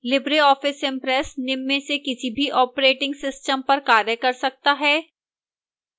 libreoffice impress निम्न में से किसी भी operating systems पर कार्य कर सकता है: